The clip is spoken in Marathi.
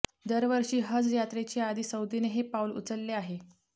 दरवर्षी हज यात्रेच्या आधी सौदीने हे पाऊल उचलले आहे